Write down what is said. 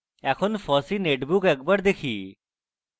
এখন fossee netbook একবার দেখি